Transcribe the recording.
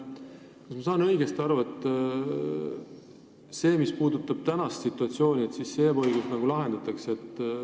Kas ma saan õigesti aru, et see ebaõiglus, mis puudutab praegust situatsiooni, nüüd lahendatakse?